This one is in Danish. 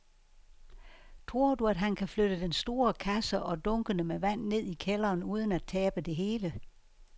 Tror du, at han kan flytte den store kasse og dunkene med vand ned i kælderen uden at tabe det hele?